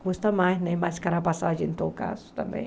Custa mais né, mais cara a passagem, em todo caso, também.